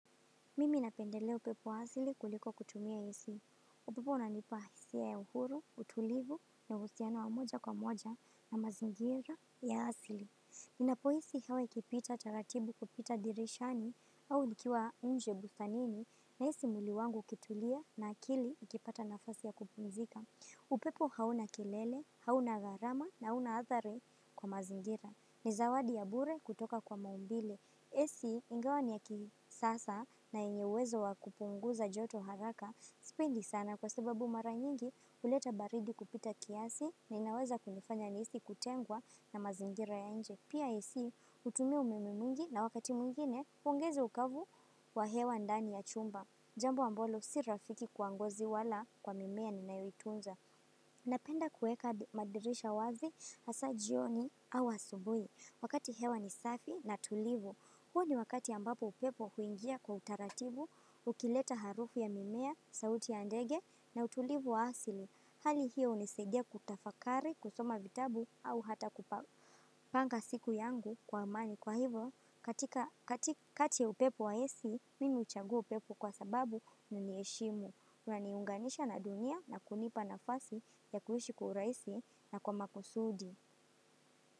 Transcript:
Mimi napendelea upepo wa asili kuliko kutumia isi. Upepo una nipa isia ya uhuru, utulivu, na uhusiano wa moja kwa moja na mazingira ya asili. Ninapoisi hawa ikipita taratibu kupita dirishani au nikiwa nje bustanini na isi mwili wangu ukitulia na akili ikipata nafasi ya kupumzika. Upepo hauna kelele, hauna garama na hauna athari kwa mazingira. Ni zawadi ya bure kutoka kwa maumbile. Esi ingawa ni ya kisasa na yenye uwezo wakupunguza joto haraka sipendi sana kwa sababu mara nyingi uleta baridi kupita kiasi na inaweza kunifanya nihisi kutengwa na mazingira ya nje. Pia ac utumia umememwingi na wakati mwingine uongeza ukavu wa hewa ndani ya chumba. Jambo ambalo si rafiki kwa ngozi wala kwa mimea ni nayoitunza. Napenda kueka madirisha wazi hasa jioni au asubui wakati hewa nisafi na tulivu. Huo ni wakati ambapo upepo huingia kwa utaratibu, ukileta harufu ya mimea, sauti ya ndege na utulivu wa asili. Hali hiyo unisaidia kutafakari, kusoma vitabu au hata kupa. Panga siku yangu kwa amani kwa hivo, katika kati ya upepo wa ac, mimi uchagua upepo kwa sababu nini eshimu. Naniunganisha na dunia na kunipa na fasi ya kuishi kwa uraisi na kwa makusudi.